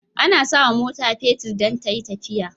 Ana sawa mota fetir dan tayi tafiya